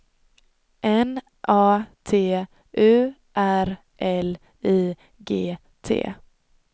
N A T U R L I G T